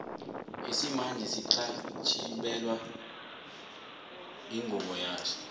isimanje sixhatjibelwa ingubo yaso